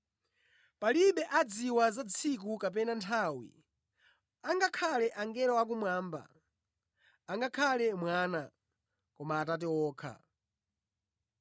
“Palibe amene adziwa za tsikulo kapena nthawi, angakhale angelo akumwamba, angakhale Mwana, koma Atate okha.